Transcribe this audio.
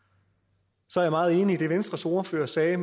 så er jeg meget enig i det venstres ordfører sagde